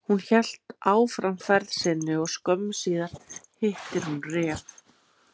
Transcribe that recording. Hún hélt áfram ferð sinni og skömmu síðar hittir hún ref.